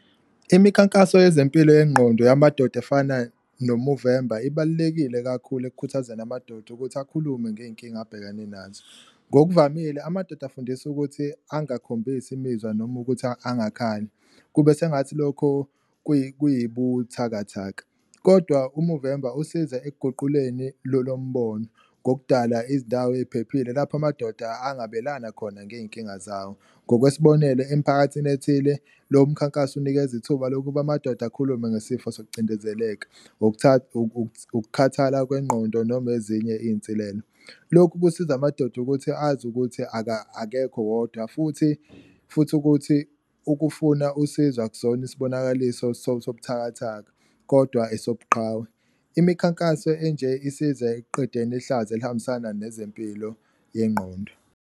Imikhankaso yezempilo yengqondo yamadoda efana noMovemba ibalulekile kakhulu ekukhuthazeni amadoda ukuthi akhulume ngey'nkinga abhekane nazo, ngokuvamile amadoda afundiswa ukuthi angakhombisi imizwa noma ukuthi angakhali, kube sengathi lokho kuyibuthakathaka. Kodwa, uMovemba usiza ekuguquleni lolo mbono ngokudala izindawo ey'phephile lapho amadoda angabelana khona ngey'nkinga zawo, ngokwesibonelo emphakathini ethile lo mkhankaso unikeza ithuba lokuba amadoda akhulume ngesifo sokucindezeleka, ukukhathala kwengqondo noma ezinye iy'nsilelo. Lokhu kusiza amadoda ukuthi azi ukuthi akekho wodwa futhi futhi ukuthi ukufuna usizo akusona isibonakaliso sobuthakathaka kodwa esobuqhawe, imikhankaso enje isize ekuqedeni ihlazo elihambisana nezempilo yengqondo.